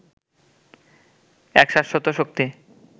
এক শাশ্বত শক্তি